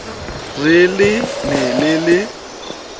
re le ne le le